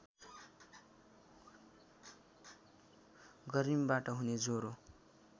गर्मीबाट हुने ज्वरो